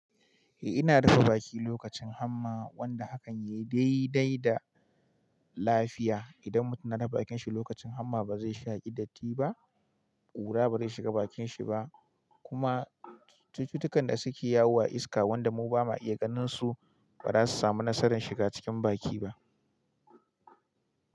Eh ina rufe baki lokacin hamma wanda hakan yayi daidai da lafiya. Idan mutum na rufe bakin shi lokacin hamma ba zai shaƙi datti ba, ƙura ba zai shiga bakin shi ba kuma cututtukan da suke yawo a iska wanda mu bama iya ganin su ba za su samu nasarar shiga cikin baki ba.